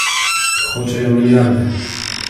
Hočejo milijarde.